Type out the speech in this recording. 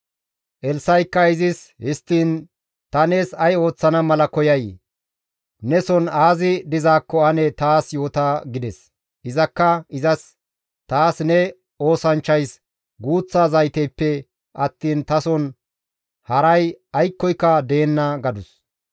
Elssa7ikka izis, «Histtiin ta nees ay ooththana mala koyay? Neson aazi dizaakko ane taas yoota» gides. Izakka izas, «Taas ne oosanchchays guuththa zayteppe attiin tason haray aykkoyka deenna» gadus.